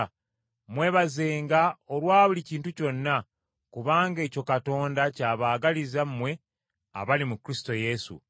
Mwebazenga olwa buli kintu kyonna, kubanga ekyo Katonda ky’abaagaliza mmwe abali mu Kristo Yesu.